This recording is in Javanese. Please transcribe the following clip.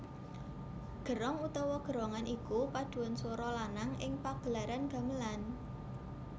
Gerong utawa gerongan iku padhuan swara lanang ing pagelaran gamelan